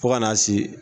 Fo ka n'a se